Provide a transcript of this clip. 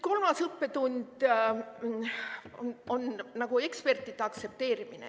Kolmas õppetund on ekspertide aktsepteerimine.